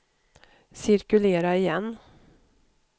cirkulera igen